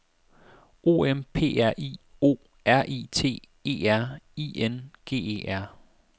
O M P R I O R I T E R I N G E R